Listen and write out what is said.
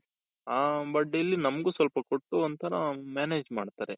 ಹ but ಇಲ್ಲಿ ನಮ್ಗೂ ಸ್ವಲ್ಪ ಕೊಟ್ರೂ ಅಂತಾನು manage ಮಾಡ್ತಾರೆ.